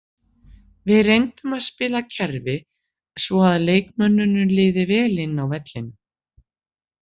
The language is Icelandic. Við reyndum að spila kerfi svo að leikmönnunum liði vel inni á vellinum.